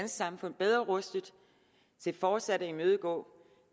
samfund bedre rustet til fortsat at imødegå